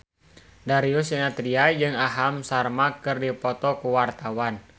Darius Sinathrya jeung Aham Sharma keur dipoto ku wartawan